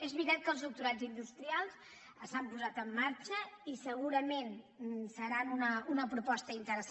és veritat que els doctorats industrials s’han posat en marxa i segurament seran una proposta interessant